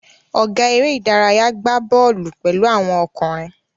Ọ̀gá eré-idárayá gbà bọ́ọ́lù pẹ̀lú àwọn ọkùnrin.